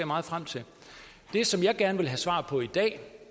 meget frem til det som jeg gerne vil have svar på i dag